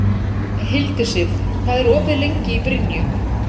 Hildisif, hvað er opið lengi í Brynju?